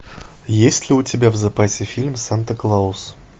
есть ли у тебя в запасе фильм санта клаус